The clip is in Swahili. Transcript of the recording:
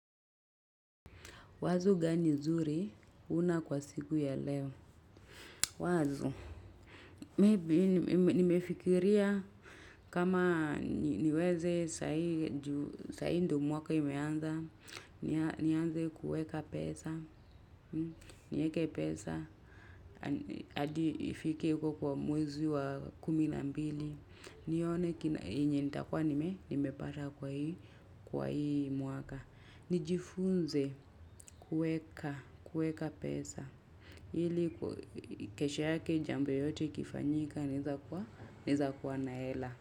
Wazo gani zuri una kwa siku ya leo? Wazo, maybe nimefikiria kama niweze saa hii ndiyo mwaka umeanza, nianze kuweka pesa, niweke pesa, hadi ifike huko kwa mwezi wa kumi na mbili. Nione kina yenye nitakuwa nimepata kwa hii mwaka. Nijifunze kuweka, kuweka pesa, ili kesho yake jambo yote ikifanyika naweza kuwa na hela.